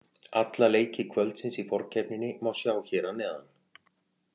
Alla leiki kvöldsins í forkeppninni má sjá hér að neðan